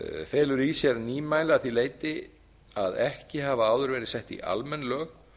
felur í sér nýmæli að í þér leyti að ekki hafa áður ver sett í almenn lög